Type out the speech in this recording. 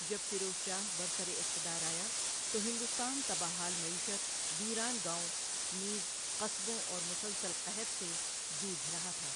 جب فیروز شاہ برسراقتدار آیا تو ہندوستان تباہ حال معیشت، ویران گاوٴں نیز قصبوں اور مسلسل قحط سے جوجھ رہا تھا۔